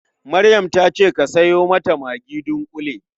Maryam ta ce ka sayo mata magi dunƙule.